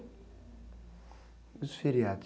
E os feriados?